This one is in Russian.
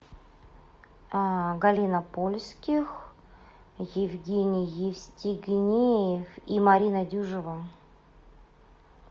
галина польских евгений евстигнеев и марина дюжева